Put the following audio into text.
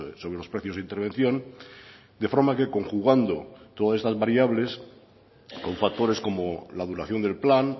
sobre los precios de intervención de forma que conjugando todas estas variables con factores como la duración del plan